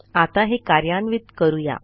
आता हे कार्यान्वित करू या